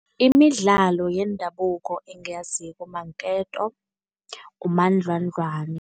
Imidlalo yendabuko engiyaziko maketo, ngumandlwandlwani.